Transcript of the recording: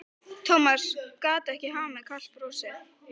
Thomas gat ekki hamið kalt brosið.